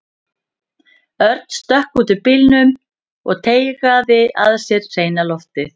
Örn stökk út úr bílnum og teygaði að sér hreina loftið.